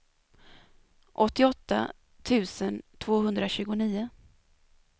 åttioåtta tusen tvåhundratjugonio